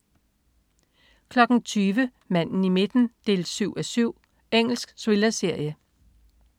20.00 Manden i midten 7:7. Engelsk thrillerserie